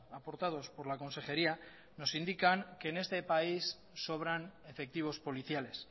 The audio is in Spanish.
aportados por la consejería nos indican que en este país sobran efectivos policiales